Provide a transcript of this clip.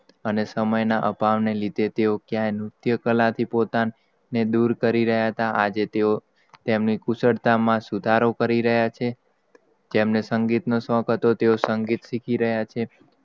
અને સમય ના અપાર ના લીધે, તેઓ ક્યાંક નુત્ય કલા ના પોતાના, દૂર કરી રહ્યાં હતાં, આજે તેઓ તેમની કુશળતા માં સુધારો કરી રહયા છે. તેમને સંગીત નો શોખ હતો તેઓ સંગીત શીખી રહયા છે.